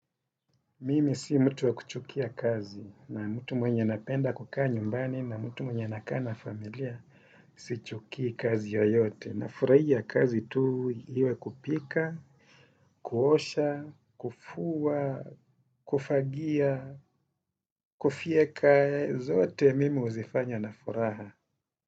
Mimi si mtu wa kuchukia kazi na mtu mwenye napenda kukaa nyumbani na mtu mwenye anakaa na familia. Sichukii kazi yoyote nafurahia kazi tu iwe ya kupika, kuosha, kufua, kufagia, kufyeka. Zote mimi huzifanya na furaha.